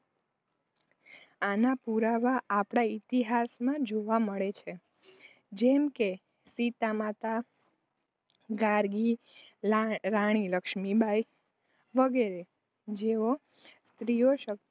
આના પુરાવા આપણા ઇતિહાસ માં જોવા મળે છે. જેમ કે સીતા માતા, ગાર્ગી, રાણી લક્ષ્મી બાઈ, વગેરે. જેઓ સ્ત્રીશક્તિનો